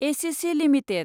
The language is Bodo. ACC limited